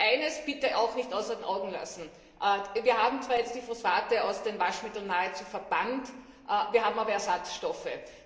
Aber eines bitte auch nicht aus den Augen lassen Wir haben zwar jetzt die Phosphate aus den Waschmitteln nahezu verbannt, wir haben aber Ersatzstoffe.